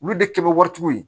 Olu de kɛ bɛ waritigiw ye